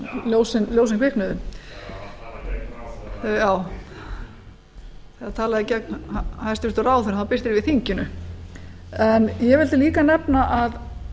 ljósin kviknuðu hann talar gegn ráðherra og þau kviknuðu já hann talaði gegn hæstvirtur ráðherra og þá birtir yfir þinginu ég vildi líka nefna að